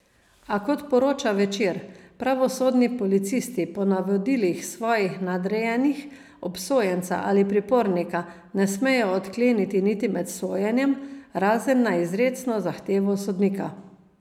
A kot poroča Večer, pravosodni policisti po navodilih svojih nadrejenih obsojenca ali pripornika ne smejo odkleniti niti med sojenjem, razen na izrecno zahtevo sodnika.